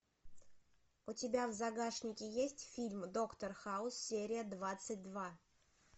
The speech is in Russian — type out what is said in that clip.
у тебя в загашнике есть фильм доктор хаус серия двадцать два